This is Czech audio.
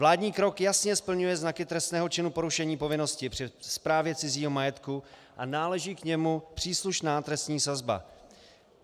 Vládní krok jasně splňuje znaky trestného činu porušení povinnosti při správě cizího majetku a náleží k němu příslušná trestní sazba.